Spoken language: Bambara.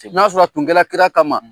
Na sɔrɔ tun kɛla kira kama